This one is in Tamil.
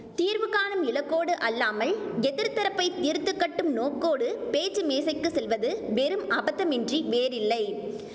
தீர்வு காணும் இலக்கோடு அல்லாமல் எதிர்த்தரப்பைத் தீர்த்து கட்டும் நோக்கோடு பேச்சு மேசைக்குச் செல்வது வெறும் அபத்தமின்றி வேறில்லை